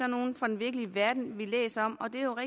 nogle fra den virkelige verden vi læser om og det er jo